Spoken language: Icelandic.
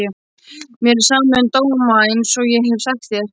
Mér er sama um dóma einsog ég hef sagt þér.